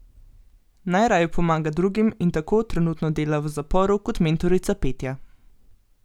Najraje pomaga drugim in tako trenutno dela v zaporu kot mentorica petja.